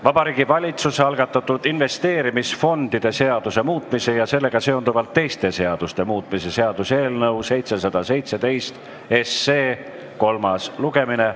Vabariigi Valitsuse algatatud investeerimisfondide seaduse muutmise ja sellega seonduvalt teiste seaduste muutmise seaduse eelnõu 717 kolmas lugemine.